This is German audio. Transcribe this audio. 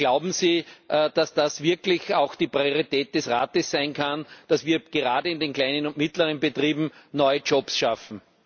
Glauben Sie, dass das wirklich auch die Priorität des Rates sein kann, dass wir gerade in den kleinen und mittleren Betrieben neue Jobs schaffen?